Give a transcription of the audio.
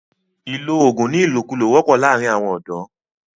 ìlọ oògùn ní ìlòkulò wọ́pọ̀ láàrín àwọn ọ̀dọ̀.